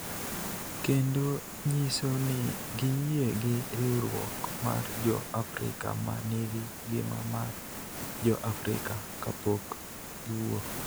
kendo nyiso ni giyie gi riwruok mar Jo-Afrika ma nigi ngima mar Jo-Afrika kapok giwuok.